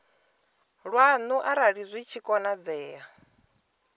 lwanu arali zwi tshi konadzea